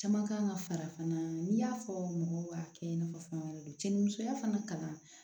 Caman kan ka fara fana n'i y'a fɔ mɔgɔw k'a kɛ i n'a fɔ fɛn wɛrɛ de do cɛnnimusoya fana kalan